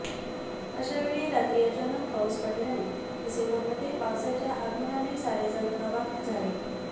अशावेळी रात्री अचानक पाऊस पडल्याने डिसेंबरमध्ये पावसाच्या आगमनाने सारेजण अवाप् झाले